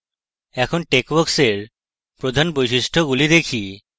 এখন texworks এর প্রধান বৈশিষ্ট্যগুলি দেখা যাক